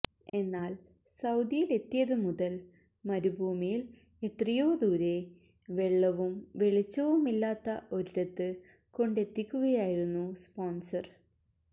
എന്നാൽ സൌദിയിലെത്തിയത് മുതൽ മരുഭൂമിയിൽ എത്രയോ ദൂരെ വെള്ളവും വെളിച്ചവുമില്ലാത്ത ഒരിടത്ത് കൊണ്ടെത്തിക്കുകയായിരുന്നു സ്പോൺസർ